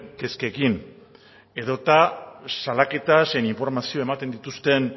kezkekin edota salaketa zein informazio ematen dituzten